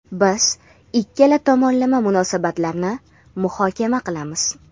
Biz ikki tomonlama munosabatlarni muhokama qilamiz.